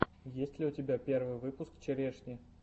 есть ли у тебя первый выпуск черешни